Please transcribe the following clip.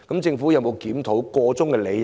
政府有沒有檢討箇中理由？